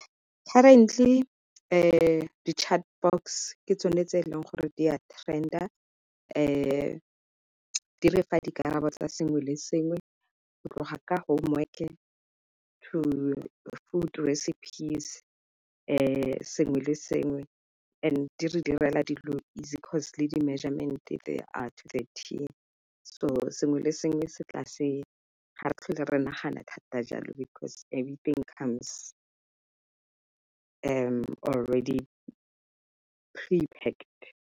Currently di-chatbots ke tsone tse e leng gore di a trend-a di refa dikarabo tsa sengwe le sengwe go tloga ka homework-e, to food recipes, sengwe le sengwe and di re direla dilo easy 'cause le di-measurement-e they are so sengwe le sengwe se tlase ga re tlhole re nagana thata jalo because everything comes already pre-packed.